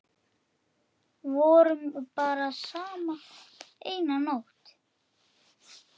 Sá gamli gleymdi að borga.